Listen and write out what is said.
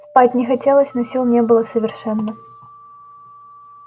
спать не хотелось но сил не было совершенно